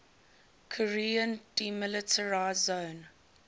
korean demilitarized zone